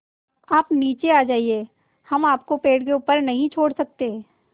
आप नीचे आ जाइये हम आपको पेड़ के ऊपर नहीं छोड़ सकते